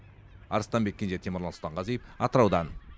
арыстанбек кенже темірлан сұлтанғазиев атыраудан